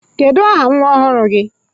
Kedụ aha nwa ọhụrụ gi?